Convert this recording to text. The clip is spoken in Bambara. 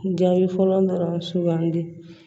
Jaabi fɔlɔ dɔrɔn sugandi